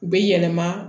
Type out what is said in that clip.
U bɛ yɛlɛma